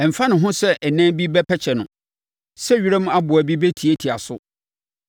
ɛmfa ne ho sɛ ɛnan bi bɛpɛkyɛ no, sɛ wiram aboa bi bɛtiatia so.